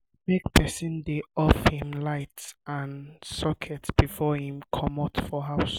make person de off him lights and socets before him comot for house